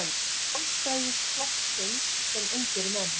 Sjálfstæðisflokksins sem ungir menn.